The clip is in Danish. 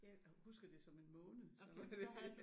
Jeg husker det som en måned så det